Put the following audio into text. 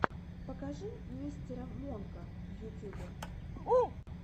покажи мистера монка в ютюбе